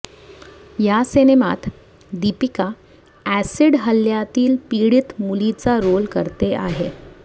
या सिनेमात दीपिका ऍसिड हल्ल्यातील पीडीत मुलीचा रोल करते आहे